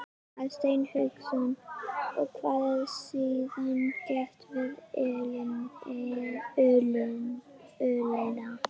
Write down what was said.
Hafsteinn Hauksson: Og hvað er síðan gert við ullina?